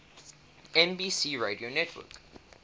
nbc radio network